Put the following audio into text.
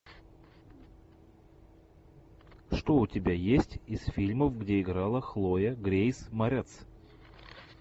что у тебя есть из фильмов где играла хлоя грейс морец